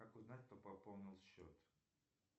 как узнать кто пополнил счет